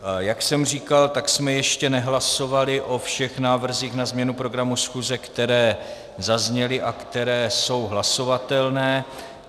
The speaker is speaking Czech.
Jak jsem říkal, tak jsme ještě nehlasovali o všech návrzích na změnu programu schůze, které zazněly a které jsou hlasovatelné.